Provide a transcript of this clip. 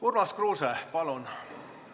Urmas Kruuse, palun!